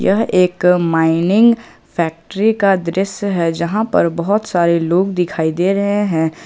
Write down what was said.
यह एक mining factory का दृश्य है जहां पर बहुत सारे लोग दिखाई दे रहे हैं।